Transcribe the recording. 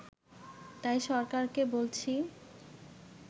তাই সরকারকে বলছি